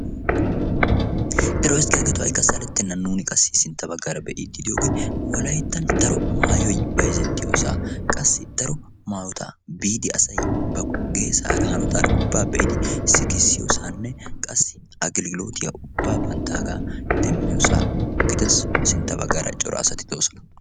ero eziggiyaagetoo haika salettenna nuuni qassi sintta baggaara be'iiddi diyoogee walayttan daro maayoy bayzettiyoosaa qassi daro maayotaa biidi asaiy ba geesaara hanotaara ubbaa be'idi sikissiyoosaanne qassi agililootiya ubbaa ba nttaagaa xemmiyoosaa gidass sintta baggaara cora asati doosona.